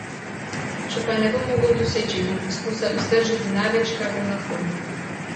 Če pa je ne bom mogel doseči, bom poskušal iztržiti največ, kar bom lahko.